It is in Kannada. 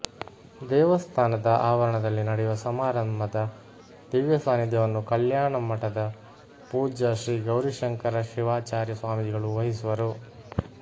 ದೇವಸ್ಥಾನದ ಆವರಣದಲ್ಲಿ ನಡೆಯುವ ಸಮಾರಂಭದ ದಿವ್ಯ ಸಾನಿಧ್ಯವನ್ನು ಕಲ್ಯಾಣಮಠದ ಪೂಜ್ಯ ಶ್ರೀಗೌರಿಶಂಕರ ಶಿವಚಾರ್ಯ ಸ್ವಾಮಿಗಳು ವಹಿಸುವರು